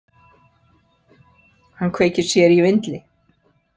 Hann kveikir sér í vindli.